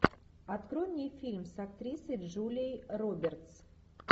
открой мне фильм с актрисой джулией робертс